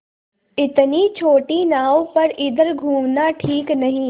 इतनी छोटी नाव पर इधर घूमना ठीक नहीं